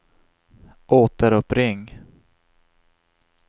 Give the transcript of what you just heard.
återuppring